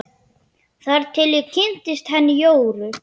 Þar til ég kynntist henni Jóru.